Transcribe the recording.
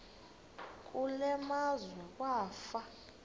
kule meazwe kwafa